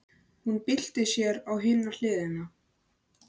Hún byltir sér á hina hliðina.